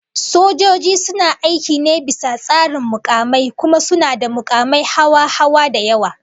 Sojoji suna aiki ne bisa tsarin mukami, kuma suna da makumai hawa-hawa da yawa